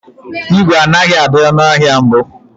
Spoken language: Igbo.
ígwè anaghị adị ọnụ ahịa mbụ.